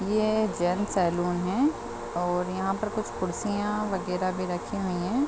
ये gents salon है और यहाँ पर कुछ कुर्सिया वगेरा भी रखी हुई है।